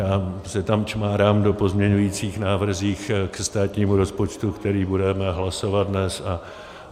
Já si tam čmárám v pozměňujících návrzích ke státnímu rozpočtu, který budeme hlasovat dnes